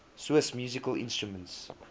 swiss musical instruments